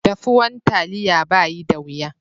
Daffuwan taliya bayi da wiya.